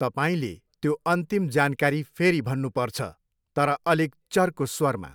तपाईँले त्यो अन्तिम जानकारी फेरि भन्नुपर्छ, तर अलिक चर्को स्वरमा।